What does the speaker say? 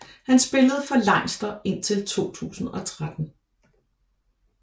Han spillede for Leinster indtil 2013